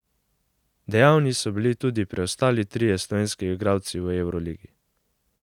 Dejavni so bili tudi preostali trije slovenski igralci v evroligi.